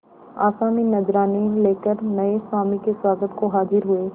आसामी नजराने लेकर नये स्वामी के स्वागत को हाजिर हुए